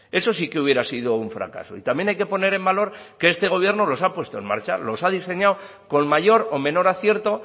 eso sí que hubiera sido un fracaso y también hay que poner en valor que este gobierno los ha puesto en marcha los ha diseñado con mayor o menor acierto